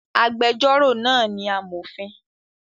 Agbẹjọ́rò náà ni amọ̀fin